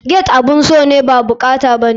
Gate abun so ne ba bukata bane.